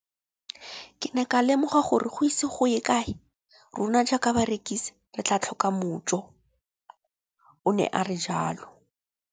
Ke ne ka lemoga gore go ise go ye kae rona jaaka barekise re tla tlhoka mojo, o ne a re jalo.